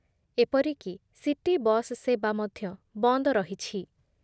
ଏପରିକି city bus ସେବା ମଧ୍ଯ ବନ୍ଦ ରହିଛି ।